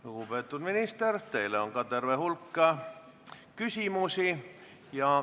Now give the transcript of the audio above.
Lugupeetud minister, teile on terve hulk küsimusi.